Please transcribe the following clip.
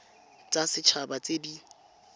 tsa set haba tse di